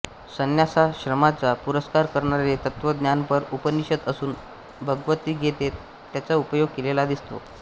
संन्यासाश्रमाचा पुरस्कार करणारे तत्वज्ञानपर उपनिषद असून भगवत्गीतेत याचा उपयोग केलेला दिसतो